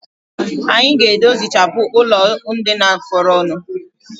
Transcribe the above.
Anyi ga-edozichapụ ụlọndina fọrọnụ